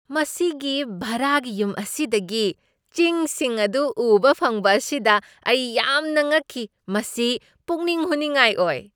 ꯃꯁꯤꯒꯤ ꯚꯥꯔꯥꯒꯤ ꯌꯨꯝ ꯑꯁꯤꯗꯒꯤ ꯆꯤꯡꯁꯤꯡ ꯑꯗꯨ ꯎꯕ ꯐꯪꯕ ꯑꯁꯤꯗ ꯑꯩ ꯌꯥꯝꯅ ꯉꯛꯈꯤ ꯫ ꯃꯁꯤ ꯄꯨꯛꯅꯤꯡ ꯍꯨꯅꯤꯡꯉꯥꯏ ꯑꯣꯏ ꯫